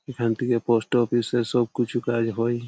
এখান থেকে পোস্টঅফিস -এর সব কুছু কাজ হয়।